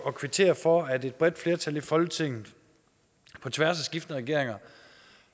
at kvittere for at et bredt flertal i folketinget på tværs af skiftende regeringer